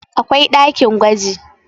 akwai ɗakin gwaji